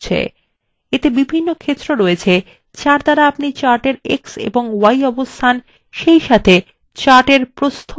এতে বিভিন্ন ক্ষেত্র রয়েছে যার দ্বারা আপনি chart এর এক্স এবং y অবস্থান সেইসাথে chart এর প্রস্থ of উচ্চতা নির্ধারন করতে পারেন